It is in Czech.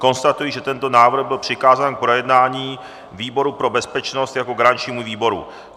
Konstatuji, že tento návrh byl přikázán k projednání výboru pro bezpečnost jako garančnímu výboru.